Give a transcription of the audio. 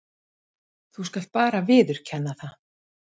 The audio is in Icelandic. Þú skalt bara viðurkenna það!